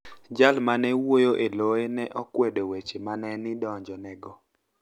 Jal ma ni e wuoyo e loye ni e okwedo weche ma ni e idonijoni ego.